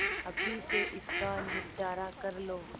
अभी से इसका निपटारा कर लो